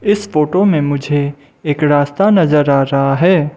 इस फोटो में मुझे एक रास्ता नजर आ रहा है।